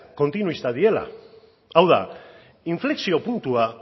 kontinuistak direla hau da inflexio puntua